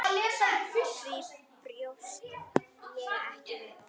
Því bjóst ég ekki við.